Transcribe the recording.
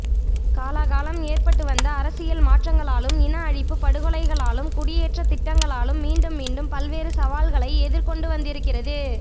காலாகாலம் ஏற்பட்டு வந்த அரசியல் மாற்றங்களாலும் இன அழிப்பு படுகொலைகளாலும் குடியேற்றதிட்டங்களாலும் மீண்டும் மீண்டும் பல்வேறு சவால்களை எதிர்கொண்டு வந்திருக்கிறது